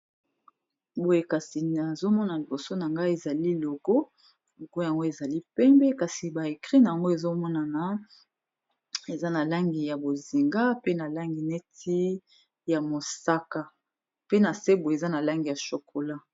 Boye kasi nazomonaa liboso na ngai ezali logo moko yango ezali pembe kasi ba écrit na yango ezomonana eza na langi ya bozinga pe na langi neti ya mosaka pe na se boye eza na langi ya chokola.